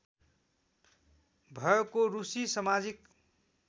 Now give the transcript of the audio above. भएको रुसी समाजिक